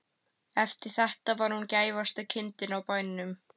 Eftir þetta var hún gæfasta kindin á bænum.